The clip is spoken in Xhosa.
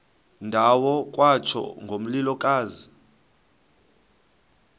ndawo kwatsho ngomlilokazi